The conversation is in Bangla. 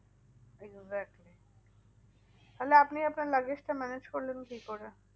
Exactly তাহলে আপনি আপনার luggage টা manage করলেন কি করে?